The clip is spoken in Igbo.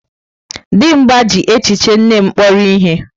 Dimgba ji echiche nne m kpọrọ ihe.